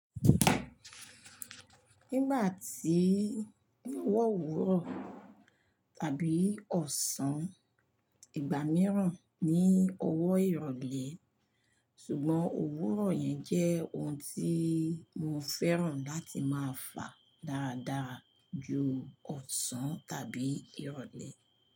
Nígbà tí ọwọ òwúrọ̀ àbí ọ̀sán, ìgbà mìíràn ni ọwọ́ ìrọ̀lẹ́. Sùgbọ́n òwúrọ̀ yẹn jẹ́ ohun tí mo fẹ́ràn láti máa fà dáadáa ju ọ̀sán tàbí ìrọ̀lẹ́.